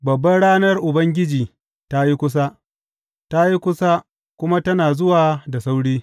Babbar ranar Ubangiji ta yi kusa, ta yi kusa kuma tana zuwa da sauri.